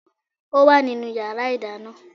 Ó wà nínú yàrá ìdáná